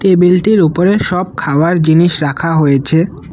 টেবিলটির ওপরে সব খাওয়ার জিনিস রাখা হয়েছে।